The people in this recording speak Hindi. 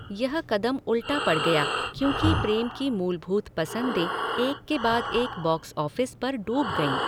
यह कदम उल्टा पड़ गया क्योंकि प्रेम की मूलभूत पसंदें एक के बाद एक बॉक्स ऑफ़िस पर डूब गईं।